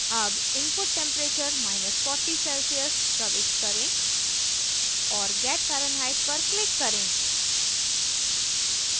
अब input temperature celcius प्रविष्ट करें और get fahrenheit पर click करें